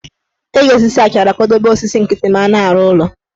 Eji osisi achara akwadobe osisi nkịtị ma a na-arụ ụlọ